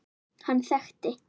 Hann þekkti